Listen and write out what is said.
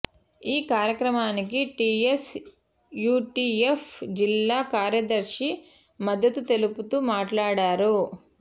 ఈ కార్యక్రమానికి TS UTF జిల్లా కార్యదర్శి మద్దతు తెలుపుతూ మాట్లాడారు